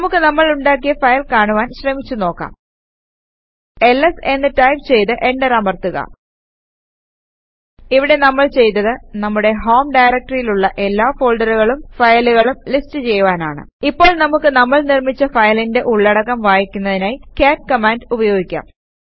നമുക്ക് നമ്മൾ ഉണ്ടാക്കിയ ഫയൽ കാണുവാൻ ശ്രമിച്ചു നോക്കാം എൽഎസ് എന്ന് ടൈപ് ചെയ്ത് എന്റർ അമർത്തുക ഇവിടെ നമ്മൾ ചെയ്തത് നമ്മുടെ ഹോം ഡയറക്ടറിയിലുള്ള എല്ലാ ഫോൾഡറുകളും ഫയലുകളും ലിസ്റ്റ് ചെയ്യുവാനാണ് ഇപ്പോൾ നമുക്ക് നമ്മൾ നിർമിച്ച ഫയലിന്റെ ഉള്ളടക്കം വായിക്കുന്നതിനായി കാട്ട് കമാൻഡ് ഉപയോഗിക്കാം